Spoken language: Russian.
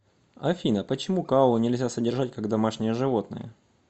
афина почему коалу нельзя содержать как домашнее животное